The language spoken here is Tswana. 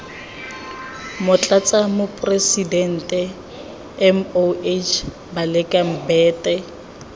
motlatsa moporesitente moh baleka mbete